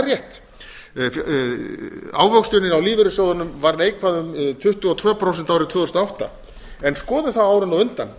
er rétt ávöxtunin á lífeyrissjóðunum var neikvæð um tuttugu og tvö prósent árið tvö þúsund og átta en skoðum þá árin á undan